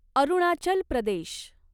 Arunachal Pradesh